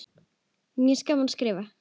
Mér finnst gaman að skrifa.